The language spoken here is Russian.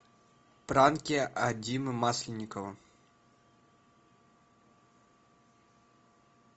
пранки от димы масленникова